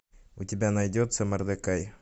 у тебя найдется мордекай